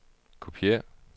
kopiér